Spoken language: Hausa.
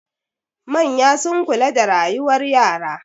Manya sun kula da rayuwar yara.